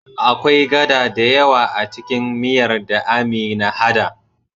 Akwai gada dayawa acikin miyar da Amina hada